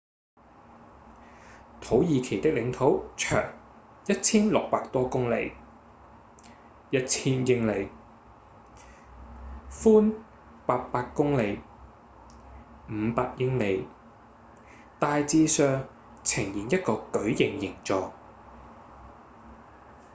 土耳其的領土長 1,600 多公里 1,000 英里寬800公里500英里大致上呈現一個矩形形狀